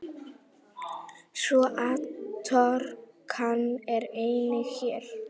Svo atorkan er einnig hér.